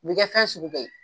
U b'i kɛ fɛn sugu bɛ ye.